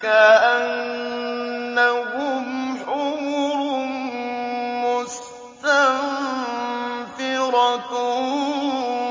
كَأَنَّهُمْ حُمُرٌ مُّسْتَنفِرَةٌ